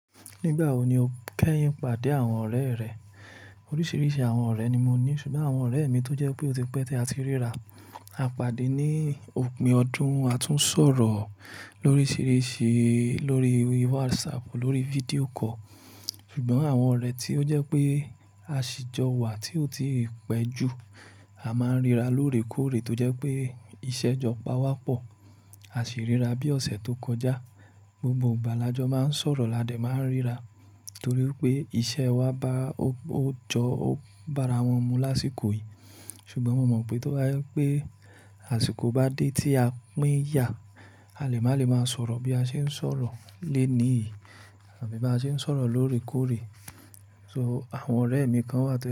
Nígbà wo ni o kẹ́yìn pàdé àwọn ọ̀rẹ́ rẹ? Orísirísi àwon ọ̀rẹ́ ni mo ní. Ṣùgbọ́n àwon ọ̀rẹ́ mi tó jẹ́ wípé ó ti pẹ́ tí a ti ríra, a pàdé ní òpin ọdún. A tún sọ̀rọ̀ lóríṣiríṣi, lórí WhatsApp, lórí video call. Ṣùgbọ́n àwọn ọ̀rẹ́ tí ó jẹ́ pé a ṣì jọ wà tí ó tíì pẹ́ jù, a máa ń ríra lóòrèkóòrè tó jẹ́ pé iṣẹ́ jọ pa wá pọ̀. A sì ríra bí ọ̀sẹ̀ tó kọjá. Gbogbo ìgbà làjọ máa ń sọ̀rọ̀ ládẹ̀, máa ń ríra. Nítorí pé iṣẹ́ wa bá ó, ó jọ, ó bá ara wọn mu lásìkò yìí. Ṣùgbọ́n mo mọ̀ pé tó bá yẹ pé àsìkò bá dé tí a pín yà, a lè má le máa sọ̀rọ̀ bí a ṣe ń sọ̀rọ̀ lónìí. Àbí bá ṣe ń sọ̀rọ̀ lóòrèkóòrè. So, àwọn ọ̀rẹ́ mi kan wà tó.